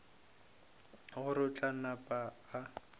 gore o tla napa a